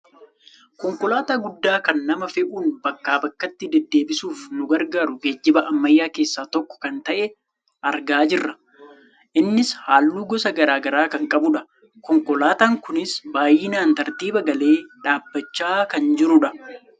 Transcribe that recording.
Konkolaataa guddaa kan nama fe'uun bakkaa bakkatti dededdeebisuuf nu gargaaru geejjiba ammayyaa keessaa tokko kan ta'e argaa jirra. Innis halluu gosa gara garaa kan qabudha. Konkolaataa kunis baayyinaan tartiiba galee dhaabbachaa kan jirudha.